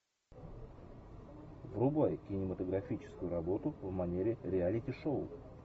врубай кинематографическую работу в манере реалити шоу